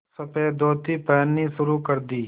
सफ़ेद धोती पहननी शुरू कर दी